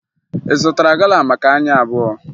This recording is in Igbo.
Ị zụtara gala maka anyị abụọ?